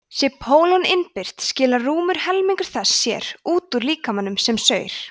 sé pólon innbyrt skilar rúmur helmingur þess sér út úr líkamanum með saur